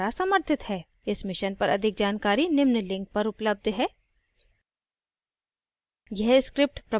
इस mission पर अधिक जानकारी निम्न link पर उपलब्ध है